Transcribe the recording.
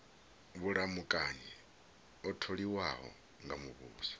vhulamukanyi o tholiwaho nga muvhuso